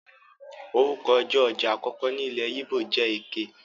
Orúkọ ọjọ́ ọjà àkọ́kọ́ ní ilé yíbò jẹ Eké.